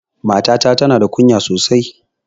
Mata ta tana da ƙunya sosai.